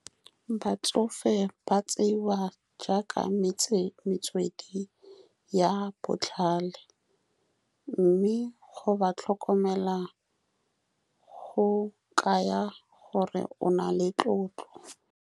Batsofe ba tseiwa jaaka metse metswedi ya botlhale, mme go ba tlhokomela go kaya gore o na le tlotlo.